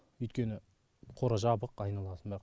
өйткені қора жабық айналасында